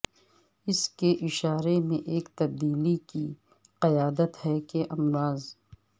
اس کے اشارے میں ایک تبدیلی کی قیادت ہے کہ امراض